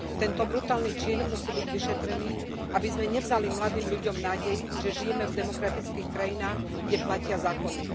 Tento brutálny čin musí byť vyšetrený, aby sme nevzali mladým ľuďom nádej, že žijeme v demokratických krajinách, kde platia zákony.